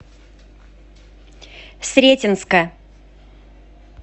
сретенска